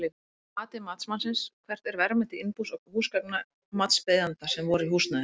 Að mati matsmanns, hvert er verðmæti innbús og húsgagna matsbeiðanda sem voru í húsnæðinu?